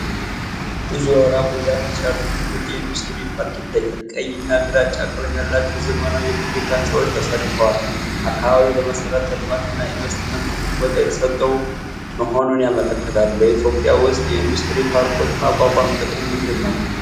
ብዙ አውራ ጎዳናዎች ያሉት ትልቅ የኢንዱስትሪ ፓርክ ይታያል። ቀይ እና ግራጫ ቀለም ያላቸው ዘመናዊ የፋብሪካ ህንፃዎች ተሰልፈዋል። አካባቢው ለመሠረተ ልማት እና ኢንቨስትመንት ትልቅ ቦታ የተሰጠው መሆኑን ያመለክታል። በኢትዮጵያ ውስጥ የኢንዱስትሪ ፓርኮችን ማቋቋም ጥቅሙ ምንድን ነው?